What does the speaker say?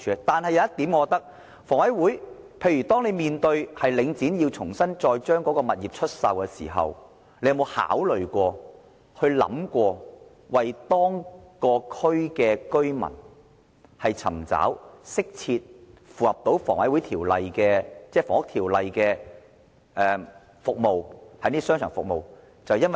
但是，有一點是，當領展將物業重新出售的時候，房委會有沒有考慮過為該區居民尋找適切及符合《房屋條例》的商場服務？